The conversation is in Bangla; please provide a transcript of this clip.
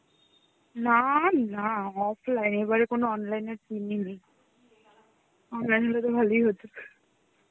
না নাহঃ offline এবারে কোন online এর scene ই নেই online হলে তো ভালোই হতো.